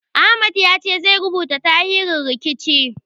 Ahmad ya ce zai rubuta tarihin rikicin.